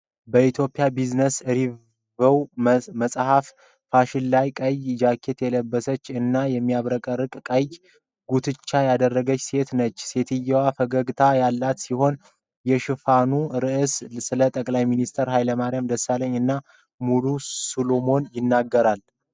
በኢትዮጵያ ቢዝነስ ሪቪው መጽሔት ሽፋን ላይ ቀይ ጃኬት የለበሰች እና የሚያብረቀርቅ ቀይ ጉትቻ ያደረገች ሴት ነች። ሴትዮዋ ፈገግታ ያላት ሲሆን፣ የሽፋኑ ርዕሶች ስለ ጠቅላይ ሚኒስትር ኃይለማርያም ደሳለኝ እና ሙሉ ሰሎሞን ይገኛሉ።